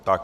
Tak.